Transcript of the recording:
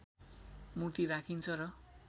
मूर्ति राखिन्छ र